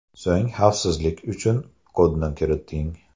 So‘ng, xavfsizlik uchun kodni kiriting.